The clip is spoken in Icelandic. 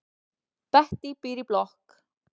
Bettý býr í blokk.